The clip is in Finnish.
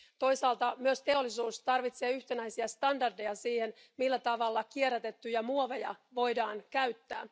Toisaalta myös teollisuus tarvitsee yhtenäisiä standardeja siihen, millä tavalla kierrätettyjä muoveja voidaan käyttää.